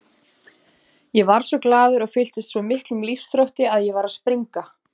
Ég varð svo glaður og fylltist svo miklum lífsþrótti að ég var að springa.